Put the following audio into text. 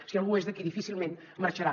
si algú és d’aquí difícilment marxarà